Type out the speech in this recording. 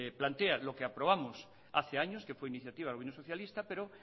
plantea lo que aprobamos hace años que fue iniciativa del gobierno socialista pero